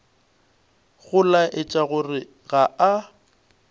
go laetša gore ga a